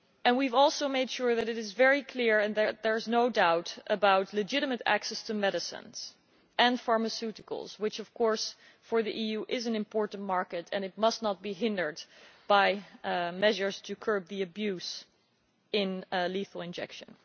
We have also made sure that it is very clear and that there is no doubt about legitimate access to medicines and pharmaceuticals which, of course, for the EU is an important market, and it must not be hindered by measures to curb the abuse of lethal injection.